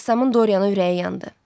Rəssamın Dorianın ürəyi yandı.